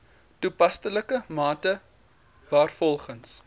toepaslike mate waarvolgens